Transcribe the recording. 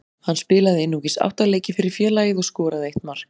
Hann spilaði einungis átta leiki fyrir félagið og skoraði eitt mark.